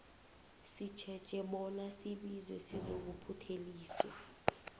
sitjheje bona sibizwe sizokuphutheliswa